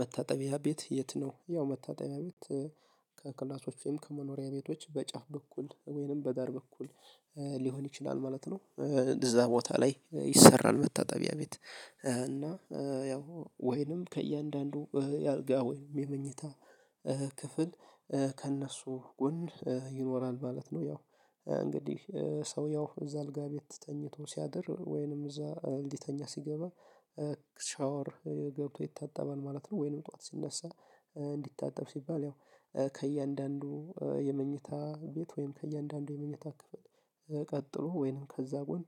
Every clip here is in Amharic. መታጠቢያ ቤት የት? ነው ያው መታጠቢያ ቤት ከክላሶቼም ከመኖሪያ ቤቶች በጫፍ በኩል ወይንም በዳር በኩል ሊሆን ይችላል ማለት ነው። እዛ ቦታ ላይ ይሰራል መታጠቢያ ቤት። እና ያው ወይንም ከእያንዳንዱ የአልጋ ወይንም የመኝታ ክፍል ከእነሱ ጎን ይኖራል ማለት ነው። ያው እንግዲህ ሰው ያው እዛ አልጋ ቤት ተኝቶ ሲያድር ወይንም እዛ ሊተኛ ሲገባ። ሻወር ገብቶ ይታጠባል ማለት ነው። ወይንም ጠዋት ሲነሳ እንዲታጠብ ሲባል ያው ከእያንዳንዱ የመኝታ ቤት ወይም ከእያንዳንዱ የመኝታ ክፍል ቀጥሎ ወይንም ከዛ ጎን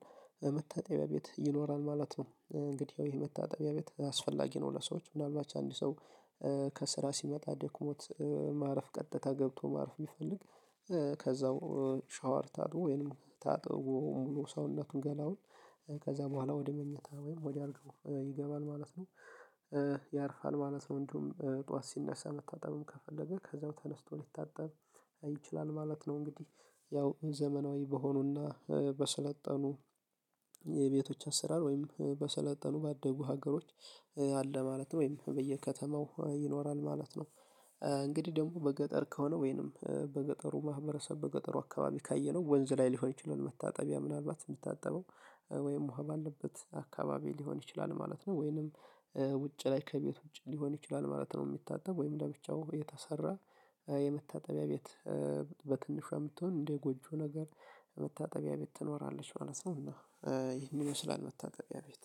መታጠቢያ ቤት ይኖራል ማለት ነው። እንግዲያው ይሄ መታጠቢያ ቤት አስፈላጊ ነው። ለሰዎች ምናልባት አንድ ሰው ከስራ ሲመጣ ደክሞት ማረፍ ቀጥታ ገብቶ ማረፍ ቢፈልግ። ከዛው ሻወር ታጥቦ ወይንም ታጥቦ ሰውነቱን ገላውን ከዛ በኋላ ወደ መኝታ ወይም ወደ አልገው ይገባል ማለት ነው። ያርፋል ማለት ነው። እንዲሁም ጠዋት ሲነሳ መታጠብም ከፈለገ ከዛው ተነስቶ ሊታጠብ ይችላል ማለት ነው። እንግዲህ ያው ዘመናዊ በሆኑና በሰለጠኑ የቤቶች አሰራር ወይም በሰለጠኑ ባአደጉ ሀገሮች አለ ማለት ነው ወይም በየከተማው ይኖራል ማለት ነው። እንግዲህ ደግሞ በገጠር ከሆነ ወይንም በገጠሩ ማህበረሰብ በገጠሩ አካባቢ ካየነው ወንዝ ላይ ሊሆን ይችላል መታጠቢያ ምናልባት የምታጠበው ወይም ዉሃ ባለበት አካባቢ ሊሆን ይችላል ማለት ነው። ወይንም ውጭ ላይ ከቤት ውጭ ሊሆን ይችላል ማለት ነው። የሚታጠብ ወይም እንደ ብቻው የተሰራ የመታጠቢያ ቤት። በትንሿ የምትሆን እንደ ጎጆ ነገር መታጠቢያ ቤት ትኖራለች ማለት ነው። እና ይህን ይመስላል መታጠቢያ ቤት